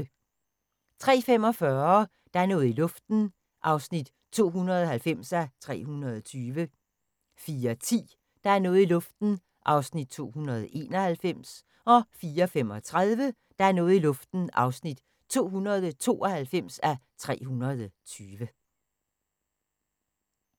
03:45: Der er noget i luften (290:320) 04:10: Der er noget i luften (291:320) 04:35: Der er noget i luften (292:320)